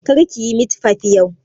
Kar ki yi mit fif yau!